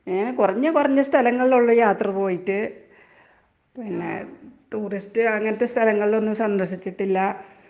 അങ്ങനെ കുറഞ്ഞ കുറഞ്ഞ സ്ഥലങ്ങളിലൊള്ളു യാത്രപോയിട്ട്. പിന്നെ ടൂറിസ്റ്റ് അങ്ങനത്തെ സ്ഥലങ്ങളിലൊന്നും സന്ദർശിച്ചിട്ടില്ല.